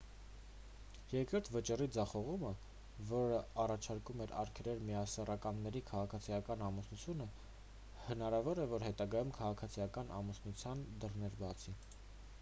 երկրորդ վճռի ձախողումը որն առաջարկում է արգելել միասեռականների քաղաքացիական ամուսնությունը հնարավոր է որ հետագայում քաղաքացիական ամուսնության դռներ բացի